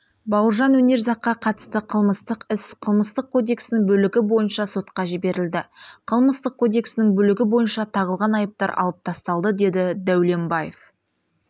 бауыржан өнерзаққа қатысты қылмыстық іс қылмыстық кодексінің бөлігі бойынша сотқа жіберілді қылмыстық кодексінің бөлігі бойынша тағылған айыптар алып тасталды деді дәулембаев